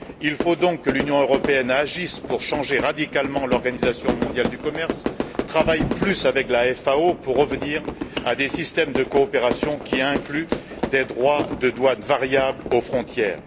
Il faut donc que l'Union européenne agisse pour changer radicalement l'Organisation mondiale du commerce et travaille plus avec la FAO pour revenir à des systèmes de coopération qui incluent des droits de douane variables aux frontières.